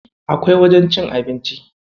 Akwai wajajen cin abinci.